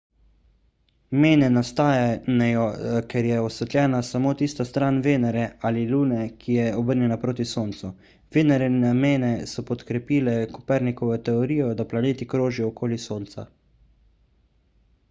mene nastanejo ker je osvetljena samo tista stran venere ali lune ki je obrnjena proti soncu. venerine mene so podkrepile kopernikovo teorijo da planeti krožijo okoli sonca